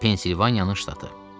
Pensilvaniyanın ştatı.